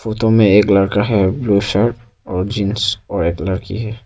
Photo में एक लड़का है ब्लू शर्ट और जींस और एक लड़की है।